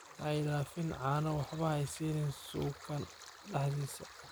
Haidafin cano waxba hasanin suukan dhaxdhisa.